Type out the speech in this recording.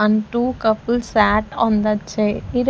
And two couples sat on the chair.